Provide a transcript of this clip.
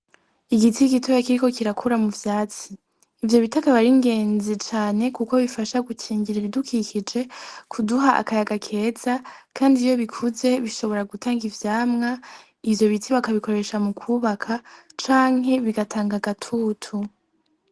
Igiti gitoya kiriko kirakura mu vyatsi, ivyo biti akaba ari ingezi cane kuko bifasha gukingira ibidukikije, kuduha akayaga keza kandi iyo bikuze bishobora gutanga ivyamwa, ivyo biti bakabikoresha mu kubaka canke bigataga agatutu.